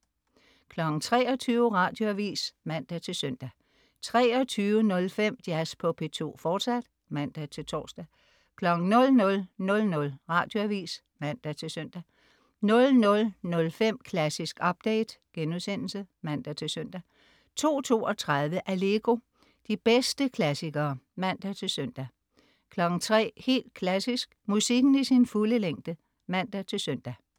23.00 Radioavis (man-søn) 23.05 Jazz på P2, fortsat (man-tors) 00.00 Radioavis (man-søn) 00.05 Klassisk update* (man-søn) 02.32 Allegro. De bedste klassikere (man-søn) 03.00 Helt Klassisk. Musikken i sin fulde længde (man-søn)